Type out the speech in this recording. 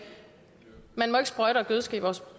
man ikke må sprøjte og gødske vores